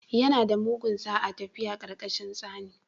Yana da mugun sa'a tafiya ƙarƙashin tsani